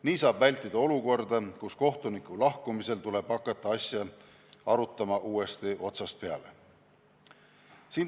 Nii saab vältida olukorda, kus kohtuniku lahkumisel tuleb hakata asja arutama uuesti otsast peale.